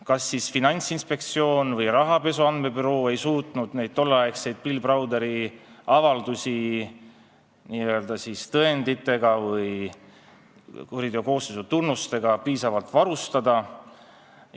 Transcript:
Kas Finantsinspektsioon või rahapesu andmebüroo ei suutnud tolleaegseid Bill Browderi avaldusi tõenditega või kuriteokoosseisu tunnustega piisavalt varustada.